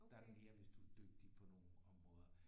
Der er det mere hvis du er dygtig på nogle områder